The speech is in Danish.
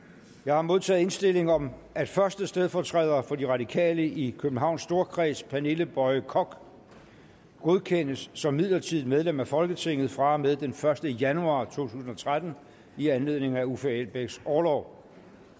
jeg har modtaget indstilling om at første stedfortræder for de radikale i københavns storkreds pernille boye koch godkendes som midlertidigt medlem af folketinget fra og med den første januar to tusind og tretten i anledning af uffe elbæks orlov